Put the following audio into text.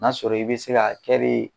N'a sɔrɔ i bɛ se ka